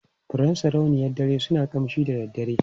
Furen sarauniyar dare suna ƙamshi da daddare.